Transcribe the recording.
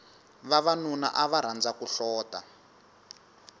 vavanuna ava rhandza ku hlota